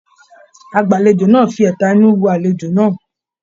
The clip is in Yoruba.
Agbalejo náà fí ẹtà inú wo alejo náà.